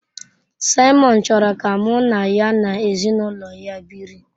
Simon chọrọ ka mụ na ya na ezinụlọ ya biri.